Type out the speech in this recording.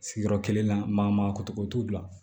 Sigiyɔrɔ kelen na maa maa kotogo t'u bila